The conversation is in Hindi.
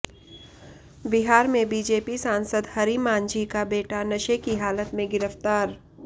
बिहार में बीजेपी सांसद हरि मांझी का बेटा नशे की हालत में गिरफ्तार